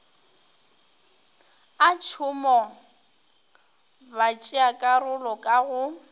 a tšhomo batšeakarolo ka go